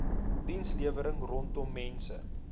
dienslewering rondom mense